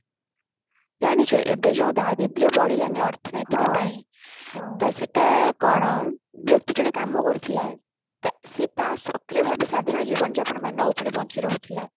ଜାଣିଛୁ ଏବେ ଯୋଉ ଦରିଦ୍ୟ ବଢିଲାଣି ଅର୍ଥନୈତିକ ପାଇଁ ତ ସେଟା କଣ ବ୍ୟକ୍ତି ଜଣେ କାମ କରୁଥିଲ ତ ସେ ତା ସକ୍ରିୟ ଭାବେ ସାଧାରଣ ଜୀବନ ଯାପନ ମାନ ଉପରେ ବଞ୍ଚି ରହୁଥିଲା